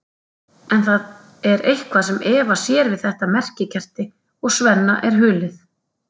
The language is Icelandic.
En það er eitthvað sem Eva sér við þetta merkikerti og Svenna er hulið.